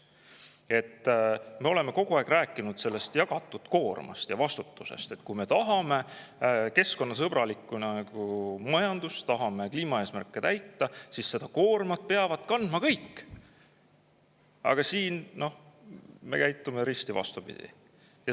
Muidu me oleme kogu aeg rääkinud jagatud koormast ja vastutusest – kui me tahame keskkonnasõbralikku majandust, tahame kliimaeesmärke täita, siis peavad koormat kandma kõik –, aga nüüd käitume risti vastupidi.